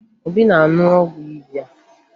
Obi na-aṅụ ọgwụ ịba